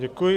Děkuji.